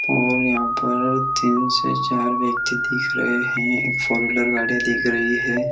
और यहाँ पर तीन से चार व्यक्ति दिख रहे है एक फोर व्हीलर गाड़िया दिख रही है।